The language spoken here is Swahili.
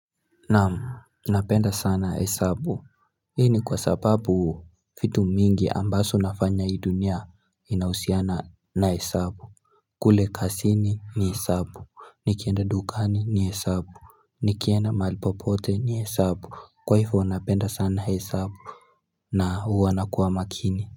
Naam, napenda sana hesabu hii ni kwa sababu vitu mingi ambaso nafanya hii dunia inausiana na hesabu kule kasini ni hesabu, nikienda dukani ni hesabu, nikienda mahali popote ni hesabu, kwaifo napenda sana hesabu na huwa nakuwa makini.